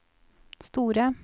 store